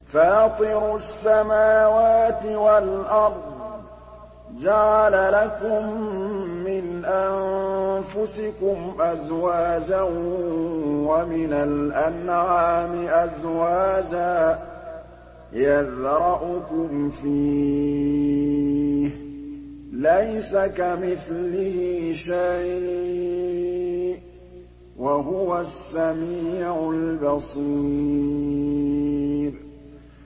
فَاطِرُ السَّمَاوَاتِ وَالْأَرْضِ ۚ جَعَلَ لَكُم مِّنْ أَنفُسِكُمْ أَزْوَاجًا وَمِنَ الْأَنْعَامِ أَزْوَاجًا ۖ يَذْرَؤُكُمْ فِيهِ ۚ لَيْسَ كَمِثْلِهِ شَيْءٌ ۖ وَهُوَ السَّمِيعُ الْبَصِيرُ